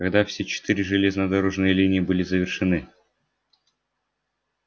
когда все четыре железнодорожные линии были завершены